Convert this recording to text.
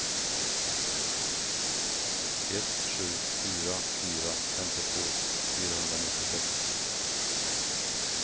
ett sju fyra fyra femtiotvå fyrahundranittiosex